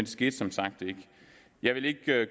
skete som sagt ikke jeg vil ikke